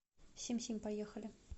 сим сим поехали